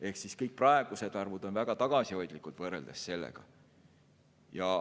Ehk kõik praegused arvud on väga tagasihoidlikud sellega võrreldes.